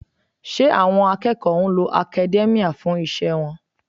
Ṣé àwọn akẹ́kọ̀ọ́ ń lo academia fún iṣẹ́ wọn?